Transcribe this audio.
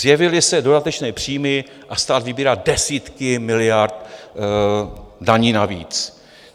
Zjevily se dodatečné příjmy a stát vybírá desítky miliard daní navíc.